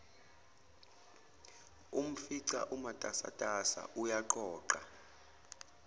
umfica umatasa uyaqoqa